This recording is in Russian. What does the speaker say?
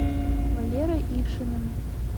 валерой ившиным